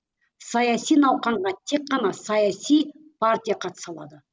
саяси науқанға тек қана саяси партия қатыса алады